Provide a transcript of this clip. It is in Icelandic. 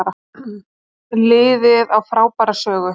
Liðið á frábæra sögu